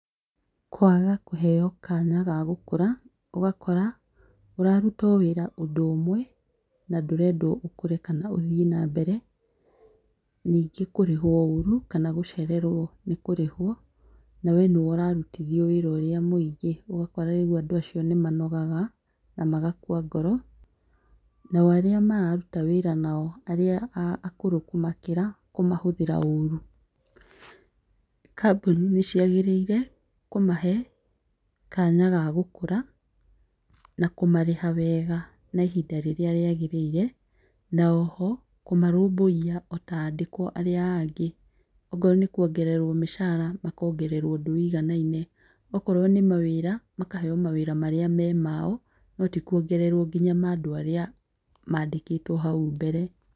Kwaga kũheo kanya ga gũkũra, ũgakora ũraruta o wĩra ũndũ ũmwe na ndũrendwo ũkũre kana ũthiĩ na mbere. Ningĩ kũrĩhwo ũru kana gũcererwo nĩ kũrĩhwo na we nĩwe ũrarũtithio wĩra ũrĩa mũingĩ. Ũgakora rĩu andũ acio nĩmanogaga na magakua ngoro nao arĩa mararuta wĩra nao arĩa akũrũ kũmakĩra kũmahũthĩra ũru . kambuni nĩciagĩrĩire kũmahe kanya ga gũkũra na kũmarĩha wega na ihinda rĩrĩa rĩagĩrĩire na oho kũmarũmbũiya ota andĩkwo arĩa angĩ ,ongorwo nĩ kuongererwo mũcara makongererwo ũndũ wũiganaine okorwo nĩ mawĩra makaheo mawĩra marĩa marĩ mao no ti kuongererwo nginya mandũ arĩa mandĩkĩtwo hau mbere.